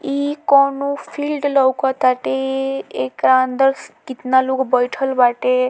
इ कोवनो फील्ड लउकत ताटे एकरा अंदर कितना लोग बइठल बाटे।